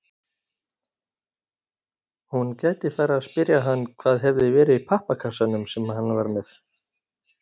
Hún gæti farið að spyrja hann hvað hefði verið í pappakassanum sem hann var með.